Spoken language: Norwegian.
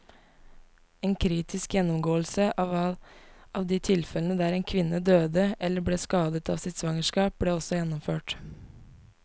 En kritisk gjennomgåelse av de tilfellene der en kvinne døde eller ble skadet av sitt svangerskap, ble også gjennomført.